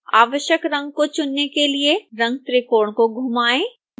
आवश्यक रंग को चुनने के लिए रंगत्रिकोण को घुमाएं